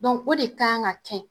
o de kan ka cɛ.